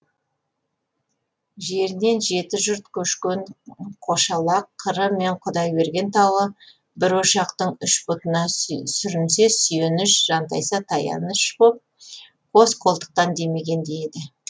жерінен жеті жұрт көшкен қошалақ қыры мен құдайберген тауы бір ошақтың үш бұтына сүрінсе сүйеніш жантайса таяныш боп қос қолтықтан демегендей еді